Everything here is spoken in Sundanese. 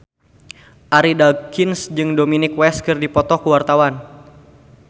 Arie Daginks jeung Dominic West keur dipoto ku wartawan